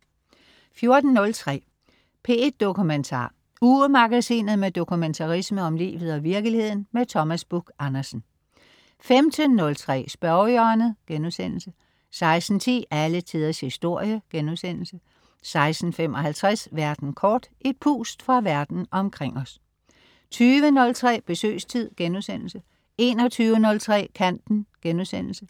14.03 P1 Dokumentar. Ugemagasinet med dokumentarisme om livet og virkeligheden. Thomas Buch-Andersen 15.03 Spørgehjørnet* 16.10 Alle Tiders Historie* 16.55 Verden kort. Et pust fra verden omkring os 20.03 Besøgstid* 21.03 Kanten*